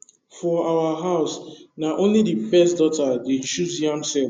for our house na only the first daughter dey choose yam sett